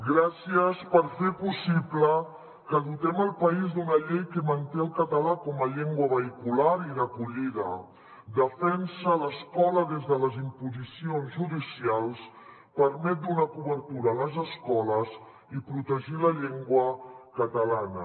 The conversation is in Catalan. gràcies per fer possible que dotem el país d’una llei que manté el català com a llengua vehicular i d’acollida defensa l’escola de les imposicions judicials permet donar cobertura a les escoles i protegir la llengua catalana